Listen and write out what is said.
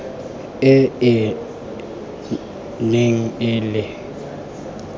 e e neng e le